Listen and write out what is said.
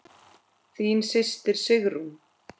Þín systir Sigrún.